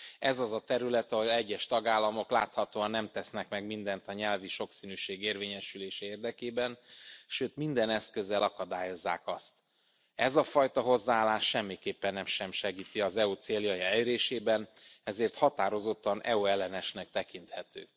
Ez az a terület, ahol egyes tagállamok láthatóan nem tesznek meg mindent a nyelvi sokszínűség érvényesülése érdekében, sőt, minden eszközzel akadályozzák azt. Ez a fajta hozzáállás semmiképpen sem segíti az EU t a céljai elérésében, ezért határozottan EU ellenesnek tekinthető.